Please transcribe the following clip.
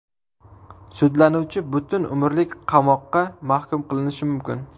Sudlanuvchi butun umrlik qamoqqa mahkum qilinishi mumkin.